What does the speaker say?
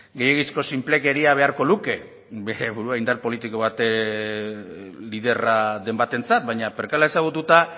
gehiegizko sinplekeria beharko luke bere burua indar politiko baten liderra den batentzat baina perkala ezagututa